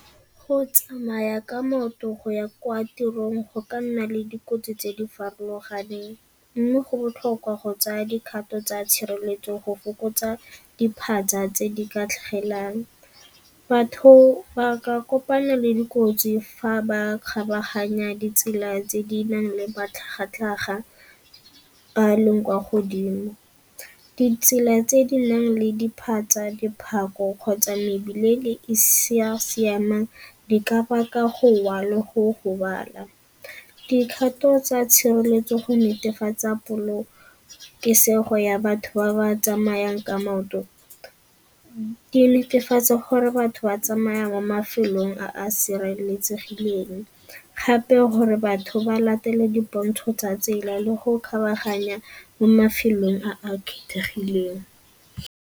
Go tsamaya ka maoto go ya kwa tirong go ka nna le dikotsi tse di farologaneng mme go botlhokwa go tsaya dikgato tsa tshireletso go fokotsa diphatsa tse di ka tlhagelang. Batho ba ka kopana le dikotsi fa ba kgabaganya ditsela tse di nang le matlhagatlhaga a a leng kwa godimo. Ditsela tse di nang le diphatsa, diphako kgotsa mebile e e sa siamang di ka baka gowa le go gobala. Dikgato tsa tshireletso go netefatsa polokesego ya batho ba ba tsamayang ka maoto di netefatsa gore gore batho ba tsamaya mo mafelong a a sireletsegileng gape gore batho ba latele dipontsho tsa tsela le go kgabaganya mo mafelong a a kgethegileng.